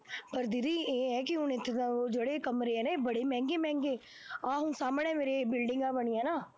ਪਰ ਦੀਦੀ ਇਹ ਹੈ ਕਿ ਉਹ ਜਿਹੜਾ ਉਹ ਜਿਹੜੇ ਕਮਰੇ ਨੇ ਬੜੇ ਮਹਿੰਗੇ ਮਹਿੰਗੇ ਨੇ, ਆਹ ਹੁਣ ਸਾਹਮਣੇ ਮੇਰੇ ਬਿਲਡਿੰਗਾਂ ਬਣੀਆਂ ਨਾ